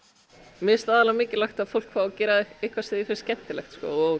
mér finnst aðallega mikilvægt að fólk fái að gera eitthvað sem því finnst skemmtilegt